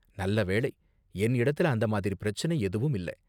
நல்ல வேளை, என் இடத்துல அந்த மாதிரி பிரச்சினை எதுவும் இல்ல.